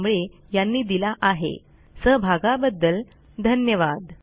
भाषांतर मनाली रानडे आवाज यांनी दिला आहे